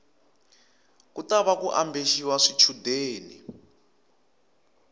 ku tava ku ambexiwa swichundeni